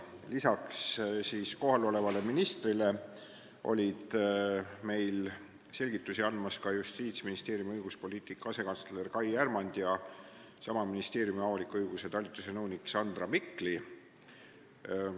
Lisaks siin kohal olevale ministrile olid meile selgitusi andmas Justiitsministeeriumi õiguspoliitika asekantsler Kai Härmand ja sama ministeeriumi avaliku õiguse talituse nõunik Sandra Mikli.